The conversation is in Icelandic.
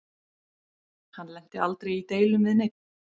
Hann lenti aldrei í deilum við neinn.